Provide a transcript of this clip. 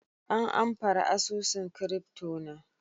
an amfare asusun " crypto" na.